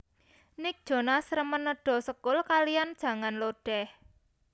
Nick Jonas remen nedha sekul kaliyan jangan lodeh